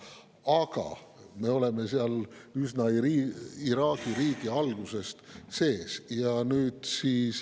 Aga me oleme seal üsna Iraagi riigi algusest sees.